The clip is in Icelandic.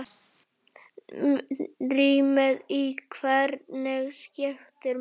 Rýmið í verkinu skiptir máli.